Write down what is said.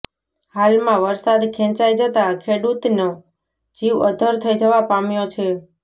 હાલમાં વરસાદ ખેંચાઇ જતા ખેડૂતનો જીવ અદ્ધર થઇ જવા પામ્યો છે